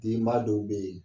Denba dɔw bɛ yen